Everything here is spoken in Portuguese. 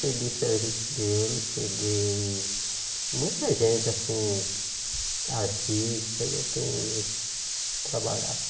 Peguei serviço dele, peguei... Muita gente, assim, artista, e eu tenho trabalhado.